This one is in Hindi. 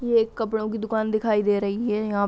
ये एक कपड़ों की दुकान दिखाई दे रही है यहा--